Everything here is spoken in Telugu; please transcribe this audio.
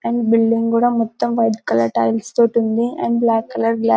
అండ్ బిల్డింగ్ కూడా మొత్తం వైట్ కలర్ టైల్స్ తోటి ఉంది అండ్ బ్లాక్ కలర్ --